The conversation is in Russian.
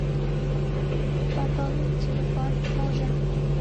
пополнить телефон мужа